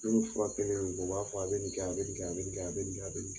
Ni min furakɛlen don dɔrɔnw, o b'a fɔ a bɛ ni kɛ, a bɛ ni kɛ., a bɛ ni kɛ. a bɛ ni .,